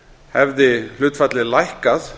hefði hlutfallið lækkað